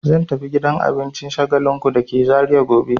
Zan tafi gidan abincin Shagalinku da ke Zariya gobe.